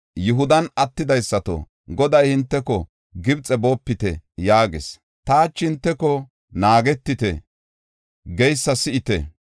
“Yihudan attidaysato, Goday hinteko, ‘Gibxe boopite!’ yaagis. Ta hachi hinteko, ‘Naagetite’ geysa si7ite.